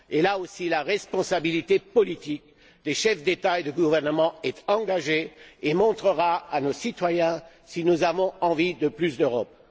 Là aussi, la responsabilité politique des chefs d'État et de gouvernement est engagée et montrera à nos citoyens si nous avons envie de plus d'Europe.